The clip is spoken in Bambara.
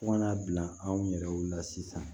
Fo kana bila anw yɛrɛw la sisan